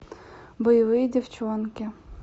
боевые девчонки